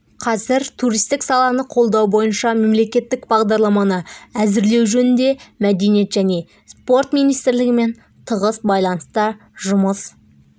қазір туристік саланы қолдау бойынша мемлекеттік бағдарламаны әзірлеу жөнінде мәдениет және спорт министрлігімен тығыз байланыста жұмыс